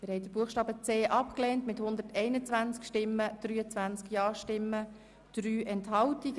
Sie haben den Buchstaben c abgelehnt mit 121 Nein- gegen 23 Ja-Stimmen bei 3 Enthaltungen.